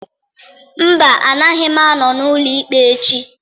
Mba, agaghị m anọ n'ụlọ ikpe echi